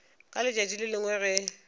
ka letšatši le lengwe ge